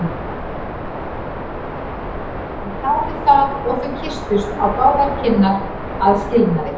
Hún þáði það og þau kysstust á báðar kinnar að skilnaði.